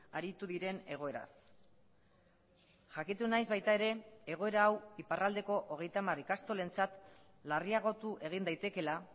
aritu diren egoeraz jakitu naiz baita ere egoera hau iparraldeko hogeita hamar ikastolentzat larriagotu egin daitekeela